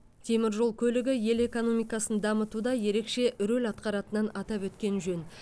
темір жол көлігі ел экономикасын дамытуда ерекше рөл атқаратынын атап өткен жөн